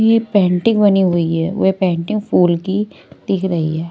ये पेंटिंग बनी हुई है वह पेंटिंग फूल की दिख रही है।